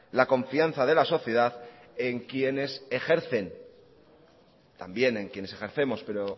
la confianza de la sociedad en quienes ejercen también en quienes ejercemos pero